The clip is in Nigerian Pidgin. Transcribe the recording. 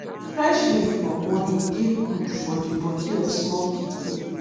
fresh milk for morning dey gud for de body of small pikin